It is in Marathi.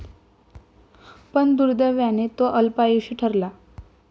पण दुर्दैवाने, तो अल्पायुषी ठरला.